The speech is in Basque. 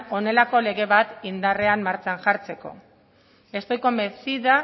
honelako lege bat indarrean martxan jartzeko estoy convencida